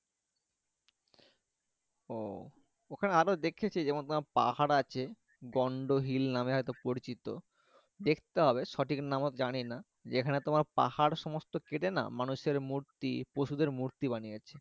ও এখানে আরো দেখেছি যেমন তোমার পাহাড় আছে গণ্য হিল নাম হয়তো পরিচিত দেখতে হবে সঠিক নাম আমি জানি না যেখানে তোমার পাহাড় সমস্ত কেটে না মানুষ এর মূর্তি পশু দেড় মূর্তি বানিয়েছে।